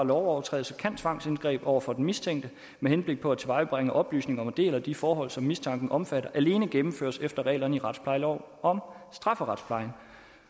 lovovertrædelse kan tvangsindgreb over for den mistænkte med henblik på at tilvejebringe oplysninger om en del af de forhold som mistanken omfatter alene gennemføres efter reglerne i retsplejelov om strafferetsplejen